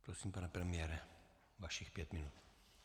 Prosím, pane premiére, vašich pět minut.